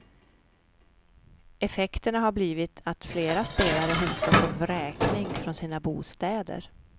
Effekterna har blivit att flera spelare hotas av vräkning från sina bostäder.